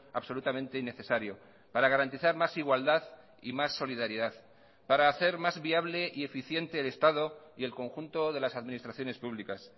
absolutamente innecesario para garantizar más igualdad y más solidaridad para hacer más viable y eficiente el estado y el conjunto de las administraciones públicas